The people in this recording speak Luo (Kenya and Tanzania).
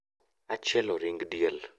Achielo ring' diel